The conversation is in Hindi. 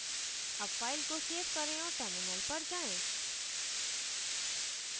अब file को सेव करें औऱ terminal पर जाएँ